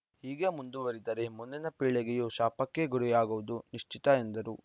ಹೀಗೆ ಮುಂದುವರಿದರೆ ಮುಂದಿನ ಪೀಳಿಗೆಯು ಶಾಪಕ್ಕೆ ಗುರಿಯಾಗುವುದು ನಿಶ್ಚಿತ ಎಂದರು